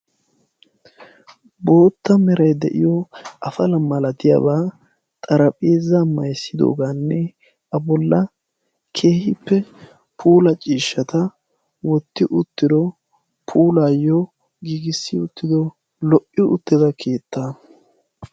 bootta meray de7iyo afala malatiyaabaa xarapheeza mayzzidoogaanne a bolla keehippe puula ciishshata wotti uttido puulaayyo giigissi uttido lo77i uttida keettaa.